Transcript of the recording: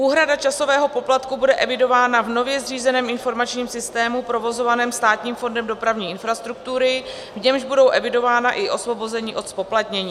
Úhrada časového poplatku bude evidována v nově zřízeném informačním systému provozovaném Státním fondem dopravní infrastruktury, v němž budou evidována i osvobození od zpoplatnění.